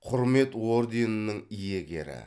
құрмет орденінің иегері